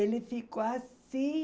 Ele ficou assim,